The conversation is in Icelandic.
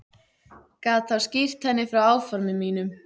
Gat þá skýrt henni frá áformum mínum.